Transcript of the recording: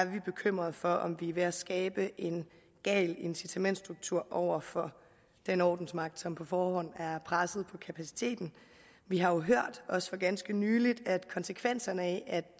vi bekymrede for om vi er ved at skabe en gal incitamentsstruktur over for den ordensmagt som på forhånd er presset på kapaciteten vi har jo hørt også for ganske nylig at konsekvenserne af at